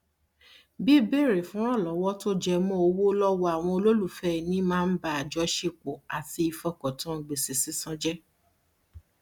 bíbèrè fún ìrànlọwọ tó jẹ mọ owó lọwọ àwọn olólùfẹ ẹnì máa ń ba àjọṣepọ àti ìfọkàntán gbèsè sísan jẹ